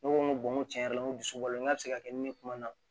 Ne ko n ko n tiɲɛ yɛrɛ la n ko dusukolo n k'a bɛ se ka kɛ ni ne kuma na